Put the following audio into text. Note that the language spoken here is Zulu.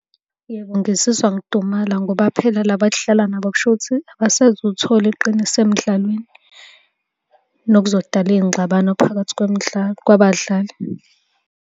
Yebo, ngizizwa ngidumala ngoba phela la esidlala nabo kushuthi abasezuthola iqiniso emdlalweni, nokuzodala iy'ngxabano phakathi kwemidlalo kwabadlali.